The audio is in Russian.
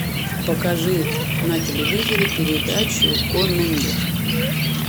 покажи на телевизоре передачу конный мир